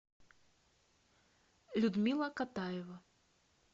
людмила катаева